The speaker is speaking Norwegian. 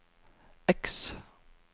X